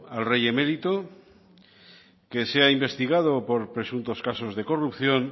al rey emérito que sea investigado por presuntos casos de corrupción